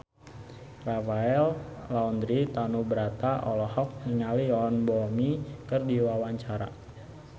Rafael Landry Tanubrata olohok ningali Yoon Bomi keur diwawancara